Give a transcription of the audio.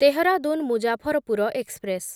Dehradun Muzaffarpur express